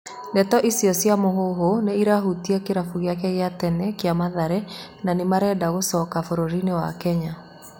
Ndeto icio cia mũhũhũ nĩ irahutia kĩrabũ gĩake gĩa tene kĩa mathare na nĩmaeenda kũmũcokia bũrũrini wa Kenya.